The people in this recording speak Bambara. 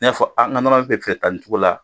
bɛ fɛ ka ta nin cogo la